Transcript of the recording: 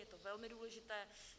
Je to velmi důležité.